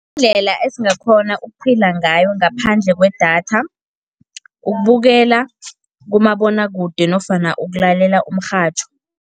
Indlela esingakghona ukuphila ngayo ngaphandle kwedatha, ukubukela kumabonwakude nofana ukulalela umrhatjho.